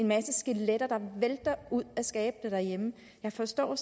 masse skeletter der vælter ud af skabene derhjemme jeg forstår